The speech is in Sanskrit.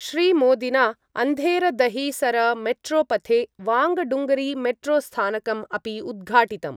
श्रीमोदिना अंधेरदहिसरमेट्रोपथे वांगडुंगरी मेट्रोस्थानकम् अपि उद्घाटितम्।